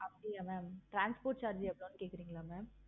அப்படியா mam transport charge எவ்வளோனு கேட்கிறீங்களா mam